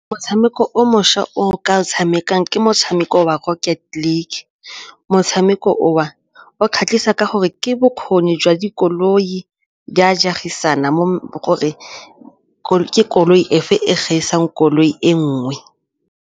Motshameko o mošwa o ka o tshamekang ke motshameko wa motshameko o o kgatlhisa ka gore ke bokgoni jwa dikoloi jwa a gore koloi efe e gaisang koloi e nngwe.